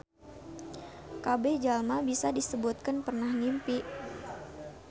Kabeh jalma bisa disebutkeun pernah ngimpi.